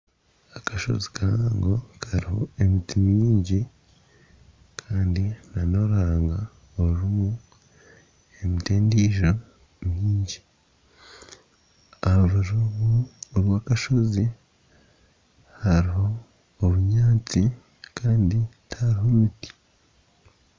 Akashozi kahango kariho emiti mingi kandi nana oruhanga ruriho endiijo mingi aha rubaju rwakashozi hariho obunyaatsi kandi tihariho miti.